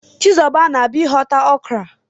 Chizuba na-abia ihota okra.